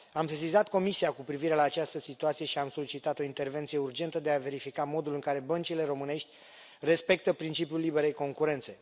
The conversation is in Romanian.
Am sesizat Comisia cu privire la această situație și am solicitat o intervenție urgentă de a verifica modul în care băncile românești respectă principiul liberei concurențe.